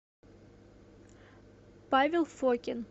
павел фокин